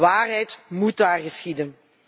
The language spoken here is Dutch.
Waarheid moet daar geschieden.